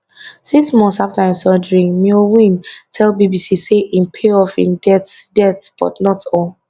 six months afta im surgery myo win tell bbc say im pay off im debts debts but not all